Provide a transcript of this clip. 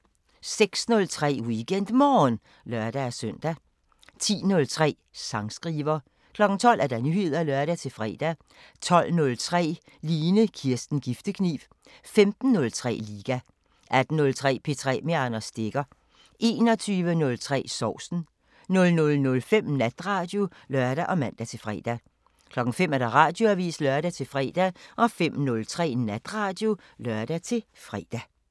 06:03: WeekendMorgen (lør-søn) 10:03: Sangskriver 12:00: Nyheder (lør-fre) 12:03: Line Kirsten Giftekniv 15:03: Liga 18:03: P3 med Anders Stegger 21:03: Sovsen 00:05: Natradio (lør og man-fre) 05:00: Radioavisen (lør-fre) 05:03: Natradio (lør-fre)